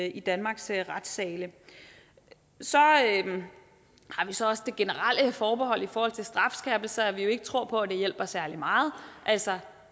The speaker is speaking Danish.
i danmarks retssale så har vi så også det generelle forbehold i forhold til strafskærpelser at vi jo ikke tror på at det hjælper særlig meget altså